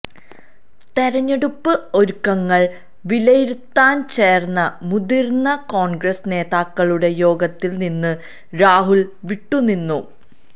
തെരഞ്ഞെടുപ്പ് ഒരുക്കങ്ങള് വിലയിരുത്താന് ചേര്ന്ന മുതിര്ന്ന കോണ്ഗ്രസ് നേതാക്കളുടെ യോഗത്തില് നിന്ന് രാഹുല് വിട്ടുനിന്നു